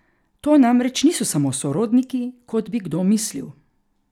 To namreč niso sami sorodniki, kot bi kdo mislil.